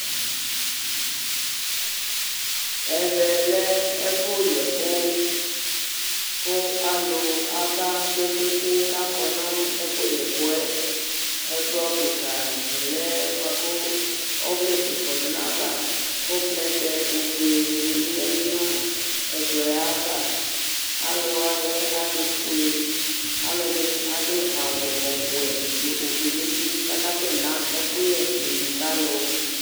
Ɛvɛ lɛ ɛfʋ yɛ ɛkʋ : kʋ alʋ aba kpekpekpe k' akɔ nʋ ɛfʋ yɛ ɛkʋ yɛ Ɛkplɔ kɩkzdɩ lɛ bʋa kʋ ɔvlɛgue kɔdʋ n'ayava, kʋ plɛtɛ ofue dɩnɩ bɩ yǝdu nʋ ɛkplɔ yɛ ava ; alʋ wanɩ lɛ alʋfue , alʋ ɛdinɩ adʋ awʋ ɔwɛ n'ofue n'uti k'akasɛ ma nʋ ivi ka alʋ